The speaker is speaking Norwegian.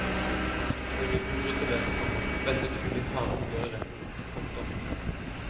Før jubelen bryter løs, komma venter trolig harde oppgjør i retten. punktum